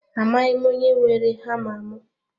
Amaghị m onye weere hama mụ